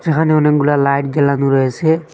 এখানে অনেকগুলা লাইট জ্বালানো রয়েসে।